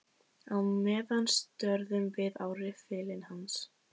Á meðan störðum við á riffilinn hans.